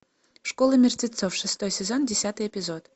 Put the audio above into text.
школа мертвецов шестой сезон десятый эпизод